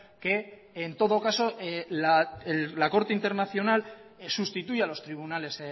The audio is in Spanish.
que en todo caso la corte internacional sustituya a los tribunales